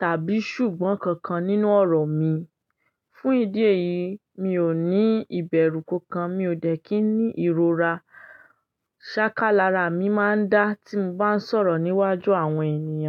tàbí ṣùgbọ́n kankan nínú ọ̀rọ̀ mi. Fún ìdí èyí, mi ò ní ìbẹ̀rù kankan, mi ò dẹ̀ kí ní ìrora. Sákálára mi máa ń dá tí mo bá ń sọ̀rọ̀ níwájú àwọn ènìyàn.